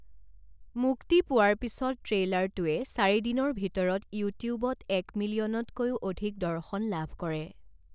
মুক্তি পোৱাৰ পিছত, ট্ৰেইলাৰটোৱে চাৰি দিনৰ ভিতৰত ইউটিউবত এক মিলিয়নতকৈও অধিক দৰ্শন লাভ কৰে।